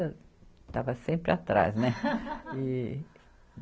Eu estava sempre atrás, né? E